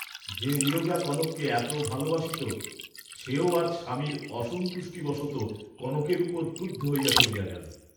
যে নীরজা কনককে এত ভাল বাসিত সেও আজ স্বামীর অসন্তুষ্টিবশত কনকের উপর ক্রুদ্ধ হইয়া চলিয়া গেল।